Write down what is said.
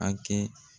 A kɛ